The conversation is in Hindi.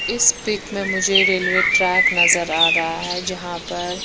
इस पिक में मुझे रेलवे ट्रेस्क नज़र आ रहा है जहा पर--